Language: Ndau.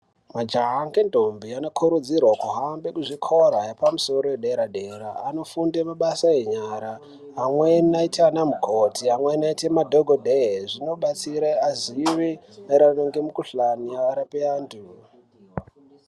Majaha ngendombi anokurudzirwe kuhambe kuzvikoro yepamusoro yedera-dera, anofunde mabasa enyara, amweni eite ana mukoti, amweni eite madhokodhee. Zvinobatsire azive maererano nemikhuhlani arape antu.